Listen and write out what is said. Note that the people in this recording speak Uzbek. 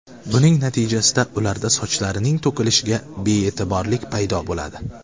Buning natijasida ularda sochlarining to‘kilishiga be’yetiborlik paydo bo‘ladi.